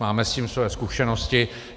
Máme s tím své zkušenosti.